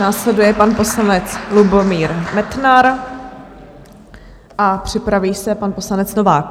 Následuje pan poslanec Lubomír Metnar a připraví se pan poslanec Novák.